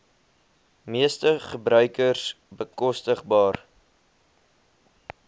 meeste gebruikers bekostigbaar